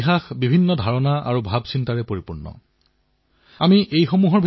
এয়া আত্মনিৰ্ভৰ ভাৰতৰ বাবে দেশৰ ভৱিষ্যতৰ বাবে অতিশয় শুভ সংকেত